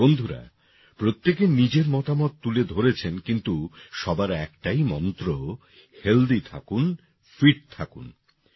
বন্ধুরা প্রত্যেকে নিজের মতামত তুলে ধরেছেন কিন্তু সবার একটাই মন্ত্র হেলথি থাকুন ফিট থাকুন